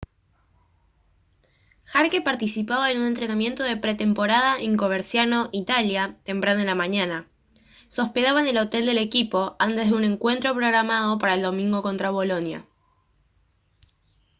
jarque participaba en un entrenamiento de pretemporada en coverciano italia temprano en la mañana se hospedaba en el hotel del equipo antes de un encuentro programado para el domingo contra bolonia